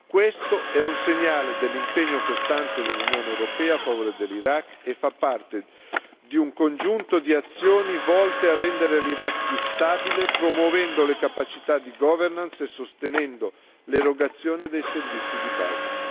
Questo è un segnale dell'impegno costante dell'Unione europea a favore dell'Iraq e fa parte di un congiunto di azioni volte a rendere l'Iraq più stabile promuovendo le capacità di governance e sostenendo l'erogazione dei servizi di base.